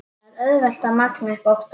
Það er auðvelt að magna upp óttann.